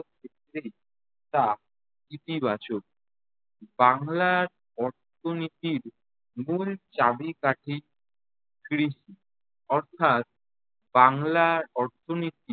ক্ষেত্রেই তা ইতিবাচক। বাংলার অর্থনীতির মূল চাবিকাঠি কৃষি। অর্থাৎ বাংলার অর্থনীতি